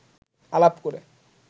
আলাপ করে